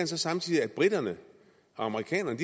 så samtidig at briterne og amerikanerne